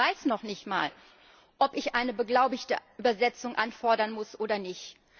Das heißt, ich weiß noch nicht einmal, ob ich eine beglaubigte Übersetzung anfordern muss oder nicht.